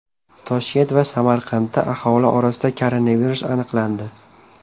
Toshkent va Samarqandda aholi orasida koronavirus aniqlandi.